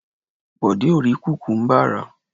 Bọ̀dé ò rí kùkúmbà rà.